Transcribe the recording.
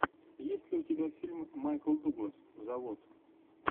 есть ли у тебя фильм майкл дуглас завод